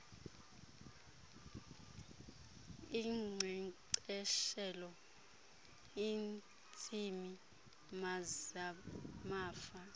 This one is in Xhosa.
inkcenkceshela iintsimi zamafama